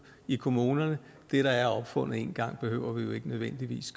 i kommunerne det der er opfundet en gang behøver vi jo ikke nødvendigvis